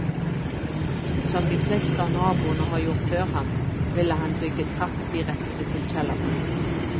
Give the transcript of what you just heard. Som de fleste av naboene har gjort før ham, ville han bygge trapp direkte til kjelleren.